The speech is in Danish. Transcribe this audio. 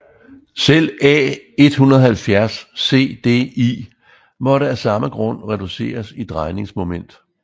Selv A 170 CDI måtte af samme grund reduceres i drejningsmoment